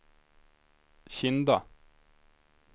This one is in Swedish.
Kinda